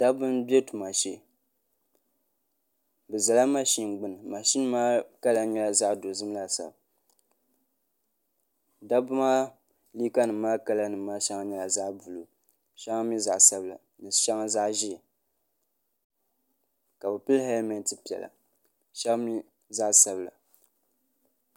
dabba n ʒɛ tuma shee bi ʒɛla mashin gbuni mashin maa nyɛla zaɣ dozim laasabu dabba maa liiga nim maa kala nim maa shɛŋa nyɛla zaɣ buluu shɛŋa mii zaɣ sabila shɛŋa zaɣ ʒiɛ ka bi pili hɛlmɛnt piɛla shab mii zaɣ sabila